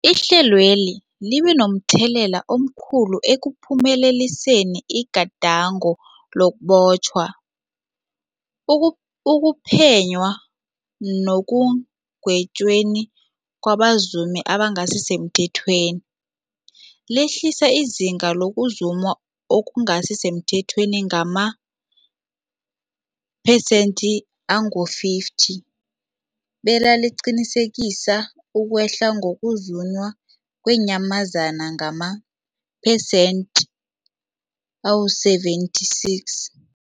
Ihlelweli libe momthelela omkhulu ekuphumeleliseni igadango lokubotjhwa, ukuphenywa nekugwetjweni kwabazumi abangasisemthethweni, lehlisa izinga lokuzuma okungasi semthethweni ngamaphesenthe-50, belaqinisekisa ukwehla kokuzunywa kweenyamazana ngamaphesenthe-76.